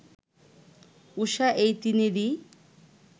ঊষা এই তিনেরই